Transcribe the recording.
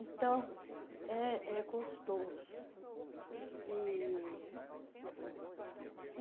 Então, é é gostoso. e